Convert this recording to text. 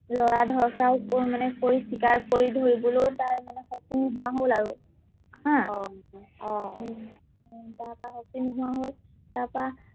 লৰা ধৰফৰাই মানে কৰি চিকাৰ কৰি ধৰিবলৈ তাৰ মানে শক্তি নোহোৱা হল আৰু হা অ উম তাৰ পৰা শক্তি নোহোৱা হল তাপা